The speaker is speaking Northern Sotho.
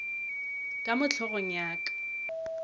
ka mo hlogong ya ka